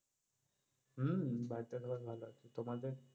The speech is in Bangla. হম বাড়িতে সবাই ভালো আছে, তোমাদের?